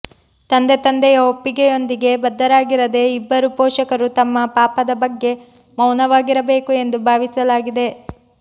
ತಂದೆ ತಂದೆಯ ಒಪ್ಪಿಗೆಯೊಂದಿಗೆ ಬದ್ಧರಾಗಿದ್ದರೆ ಇಬ್ಬರೂ ಪೋಷಕರು ತಮ್ಮ ಪಾಪದ ಬಗ್ಗೆ ಮೌನವಾಗಿರಬೇಕು ಎಂದು ಭಾವಿಸಲಾಗಿದೆ